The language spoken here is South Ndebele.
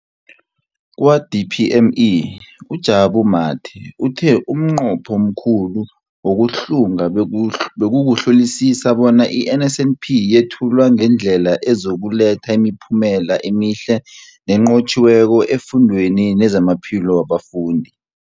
Kwa-DPME, uJabu Mathe, uthe umnqopho omkhulu wokuhlunga bekukuhlolisisa bona i-NSNP yethulwa ngendlela ezokuletha imiphumela emihle nenqotjhiweko efundweni nezamaphilo wabafundi.